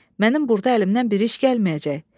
Mənim burda əlimdən bir iş gəlməyəcək.